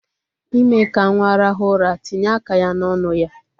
Ime ka nwa rahu ura, tinye aka ya n'onu ya.